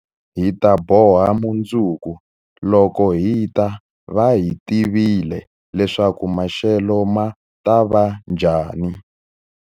Hi ta boha mundzuku, loko hi ta va hi tivile leswaku maxelo ma ta va njhani.